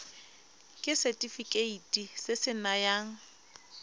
ke setefikeiti se se nayang